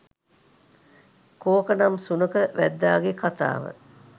කෝක නම් සුනඛ වැද්දාගේ කතාව,